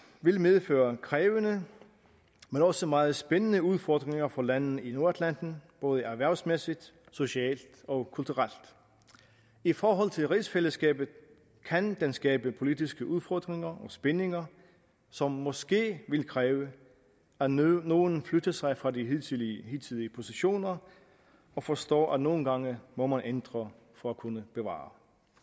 vil medføre krævende men også meget spændende udfordringer for landene i nordatlanten både erhvervsmæssigt socialt og kulturelt i forhold til rigsfællesskabet kan den skabe politiske udfordringer og spændinger som måske vil kræve at nogle nogle flytter sig fra de hidtidige hidtidige positioner og forstår at man nogle gange må ændre for at kunne bevare